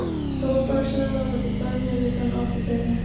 Tóbakssala verði bönnuð utan apóteka